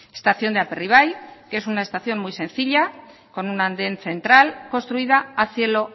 estación de aperribai que es una estación muy sencilla con un andén central construida a cielo